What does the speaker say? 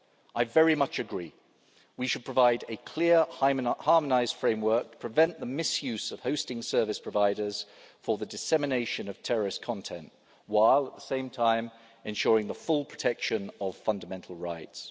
work. I very much agree we should provide a clear harmonised framework, prevent the misuse of hosting service providers for the dissemination of terrorist content, while at the same time ensuring the full protection of fundamental rights.